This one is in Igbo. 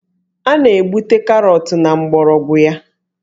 A na-egbute Karọtụ na mgbọrọgwụ ya